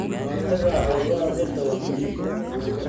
Ka hortagga cudurrada dhirta waa muhiim.